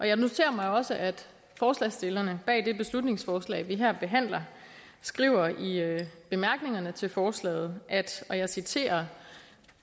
jeg noterer mig også at forslagsstillerne bag det beslutningsforslag vi her behandler skriver i bemærkningerne til forslaget at og jeg citerer